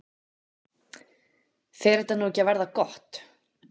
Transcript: Fer þetta nú ekki að verða gott?